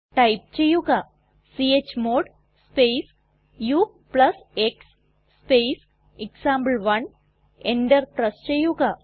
type ചെയ്യുക chmod space ux space example one enter press ചെയ്യുക